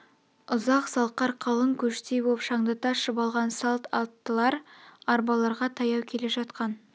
ұзақ салқар қалың көштей боп шаңдата шұбалған салт аттылар арбаларға таяу келе жатқан